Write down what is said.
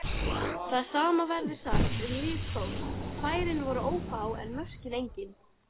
Það sama verður sagt um lið Þórs, færin voru ófá en mörkin engin.